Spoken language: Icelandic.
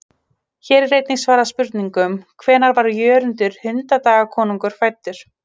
Hér er einnig svarað spurningunum: Hvenær er Jörundur hundadagakonungur fæddur?